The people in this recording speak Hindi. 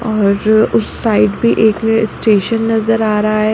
और उस साइड पे एक स्ट्रेशन नज़र आरा है।